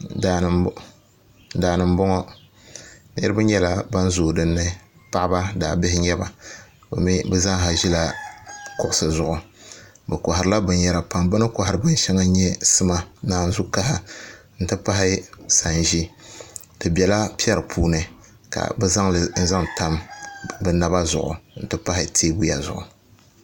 Daani n boŋo niraba nyɛla ban zooi dinni paɣaba daabihi n nyɛba bi zaaha ʒila kuɣusi zuɣu bi koharila binyɛra pam bi ni kohari binshɛŋa n nyɛ sima naanzu kaha n ti pahi sanʒi di biɛla piɛri puuni ka bi zaŋli zaŋ tam bi naba zuɣu n ti pahi teebuya zuɣu